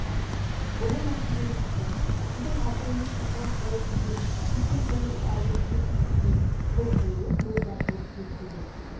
ұлы мәртебелі тақсыр сіздің абыроймен патшалық дәуір сүрген сексен тоғызыншы айдың төртінші күні қол қойылып мөр басылып бекітілді